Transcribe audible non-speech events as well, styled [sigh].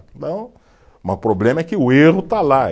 [unintelligible] Mas o problema é que o erro está lá.